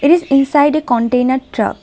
It is inside a container truck.